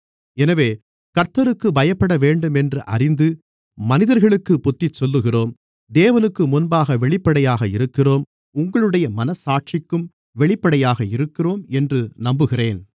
எனவே கர்த்தருக்குப் பயப்படவேண்டும் என்று அறிந்து மனிதர்களுக்குப் புத்திசொல்லுகிறோம் தேவனுக்குமுன்பாக வெளிப்படையாக இருக்கிறோம் உங்களுடைய மனச்சாட்சிக்கும் வெளிப்படையாக இருக்கிறோம் என்று நம்புகிறேன்